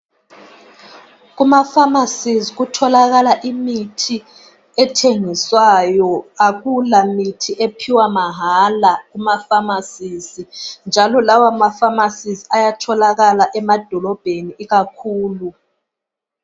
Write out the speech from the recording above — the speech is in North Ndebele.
Kumafamasisi kutholakala imithi, akulamithi etholakala mahara kumafamasi. Njalo amafamasisi atholakala emadolobheni.